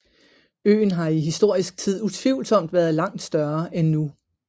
Øen har i historisk tid utvivlsomt været langt større end nu